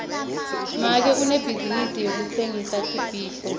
make unebhizinisi yekutsengisa tibhidvo